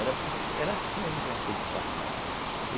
Era era assim a juventude do passado.